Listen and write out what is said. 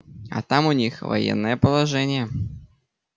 а там у них военное положение